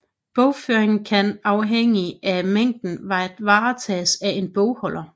Bogføringen kan afhængig af mængden varetages af en bogholder